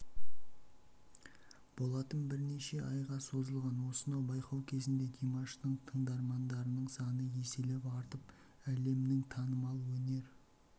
болатын бірнеше айға созылған осынау байқау кезінде димаштың тыңдармандарының саны еселеп артып әлемнің танымал өнер